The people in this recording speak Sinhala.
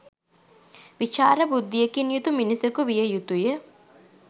විචාර බුද්ධියකින් යුතු මිනිසෙකු විය යුතුය.